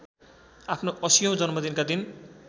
आफ्नो ८० औं जन्मदिनका दिन